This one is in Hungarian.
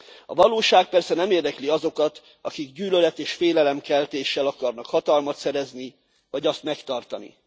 A valóság persze nem érdekli azokat, akik gyűlölet és félelemkeltéssel akarnak hatalmat szerezni vagy azt megtartani.